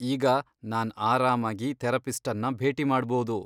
ಈಗ ನಾನ್ ಆರಾಮಾಗಿ ಥೆರಪಿಸ್ಟನ್ನ ಭೇಟಿ ಮಾಡ್ಬೋದು.